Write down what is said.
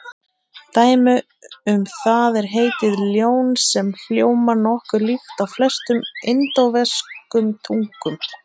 Dæmi um það er heitið ljón sem hljómar nokkuð líkt á flestum indóevrópskum tungum.